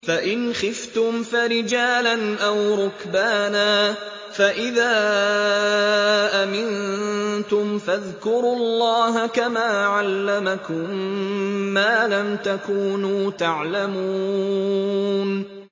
فَإِنْ خِفْتُمْ فَرِجَالًا أَوْ رُكْبَانًا ۖ فَإِذَا أَمِنتُمْ فَاذْكُرُوا اللَّهَ كَمَا عَلَّمَكُم مَّا لَمْ تَكُونُوا تَعْلَمُونَ